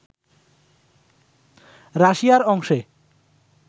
রাশিয়ার অংশে